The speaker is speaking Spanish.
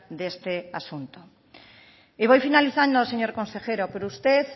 de este asunto y voy finalizando señor consejero pero usted